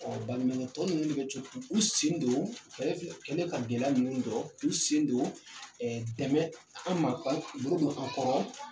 Ɔ baɲumankɛtɔn ninnu bɛ co k'u sen don ka gɛlɛya ninnu dɔn, k' u sen don dɛmɛ an ma bolo don an kɔrɔ.